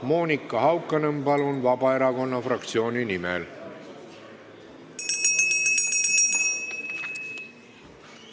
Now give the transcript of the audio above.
Monika Haukanõmm, palun, Vabaerakonna fraktsiooni nimel!